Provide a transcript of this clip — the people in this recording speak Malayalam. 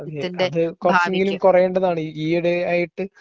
അതെ കുറച്ചെങ്കിലും കുറയേണ്ടതാണ് ഈയിടെയായിട്ട്